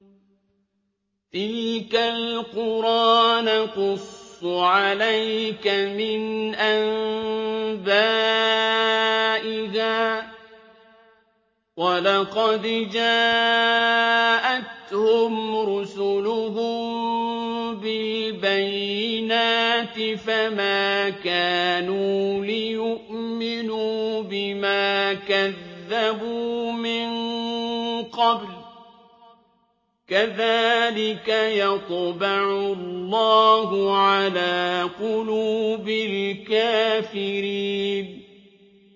تِلْكَ الْقُرَىٰ نَقُصُّ عَلَيْكَ مِنْ أَنبَائِهَا ۚ وَلَقَدْ جَاءَتْهُمْ رُسُلُهُم بِالْبَيِّنَاتِ فَمَا كَانُوا لِيُؤْمِنُوا بِمَا كَذَّبُوا مِن قَبْلُ ۚ كَذَٰلِكَ يَطْبَعُ اللَّهُ عَلَىٰ قُلُوبِ الْكَافِرِينَ